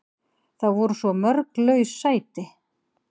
Það voru svo mörg laus sæti.